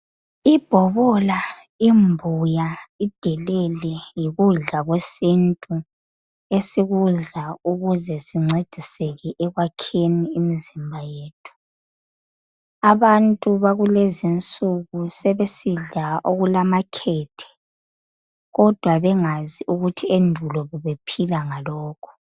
Ibhobola, imbuya, idelele yikudla kwesintu esikudla ukuze sincediseke ekwakheni imzimba yethu. Abantu bakulezinsuku sebesidla okulamakhethe kodwa bengazi ukuthi endulo bebephila ngalokhu.